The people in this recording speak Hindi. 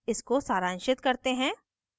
इसको सारांशित करते हैं